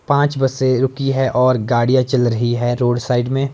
पांच बसे रुकी है और गाड़ियां चल रही है रोड साइड में--